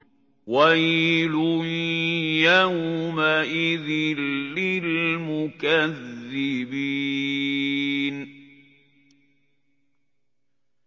وَيْلٌ يَوْمَئِذٍ لِّلْمُكَذِّبِينَ